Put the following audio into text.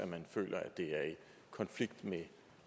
føler at det er i konflikt med